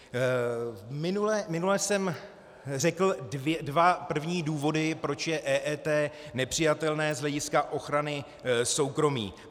Minule jsem řekl první dva důvody, proč je EET nepřijatelné z hlediska ochrany soukromí.